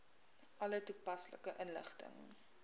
alle toepaslike inligting